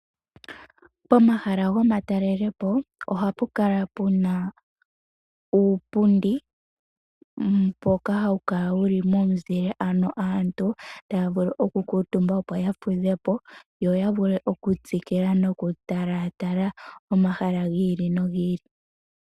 Pomahala gomatalelepo ohapu kala puna uupundi mboka hawu kala wuli momizile, ano aantu taya vulu oku kuutumba opo yafudhepo, yo ya vule okutsikila noku tala tala omahala gi ili nogi ili.